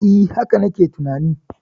E, haka na ke tunani.